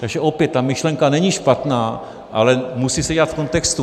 Takže opět, ta myšlenka není špatná, ale musí se dělat v kontextu.